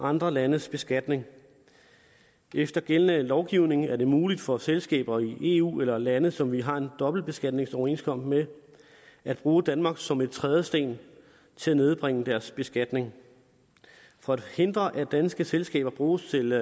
andre landes beskatning efter gældende lovgivning er det muligt for selskaber i eu eller i lande som vi har en dobbeltbeskatningsoverenskomst med at bruge danmark som en trædesten til at nedbringe deres beskatning for at hindre at danske selskaber bruges til